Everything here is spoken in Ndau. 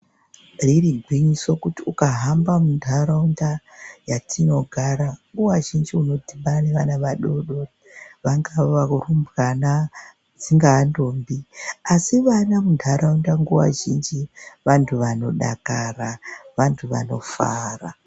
Zveiri gwinyiso kuti ukahamba munharaunda yatinogara nguva zhinji unodhibana nevana vadodori vatino dzingava rumbwana dzingava ndombi. Asi vana munharaunda nguva zhinji vantu vanodakara, vantu vanofara.